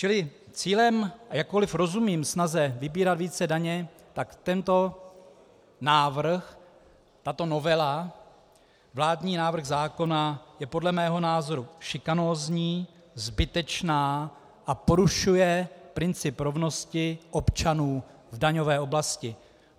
Čili cílem - jakkoli rozumím snaze vybírat více daně, tak tento návrh, tato novela, vládní návrh zákona, je podle mého názoru šikanózní, zbytečný a porušuje princip rovnosti občanů v daňové oblasti.